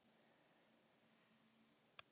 Það eru tveir menn fyrir framan sitt hvora.